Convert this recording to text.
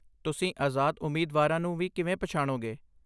ਤੁਸੀਂ ਆਜ਼ਾਦ ਉਮੀਦਵਾਰਾਂ ਨੂੰ ਵੀ ਕਿਵੇਂ ਪਛਾਣੋਗੇ?